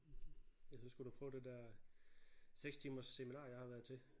Ellers så skulle du prøve det der 6 timers seminar jeg har været til